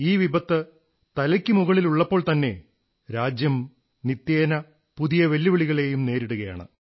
കുറച്ചു രാജ്യം നിത്യേന പുതിയ വെല്ലുവിവെല്ലുവിളികളെയും രാജ്യം നേരിടുകയാണ്